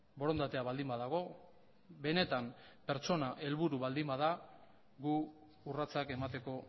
borondatea baldin badago benetan pertsona helburu baldin bada gu urratsak emateko